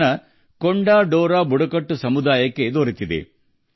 ಕೊಂಡ ದೊರ ಬುಡಕಟ್ಟು ಸಮುದಾಯಕ್ಕೂ ಇದರಿಂದ ಸಾಕಷ್ಟು ಅನುಕೂಲವಾಗಿದೆ